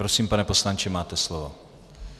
Prosím, pane poslanče, máte slovo.